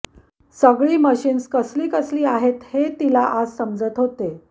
सगळी मशीन्स कसली कसली आहेत हे तिला आज समजत होते